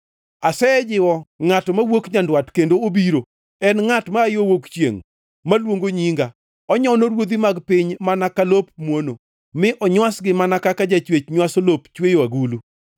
“Asejiwo ngʼato mawuok nyandwat kendo obiro, en ngʼat maa yo wuok chiengʼ maluongo nyinga. Onyono Ruodhi mag piny mana ka lop muono, mi onywasgi mana kaka jachwech nywaso lop chweyo agulu.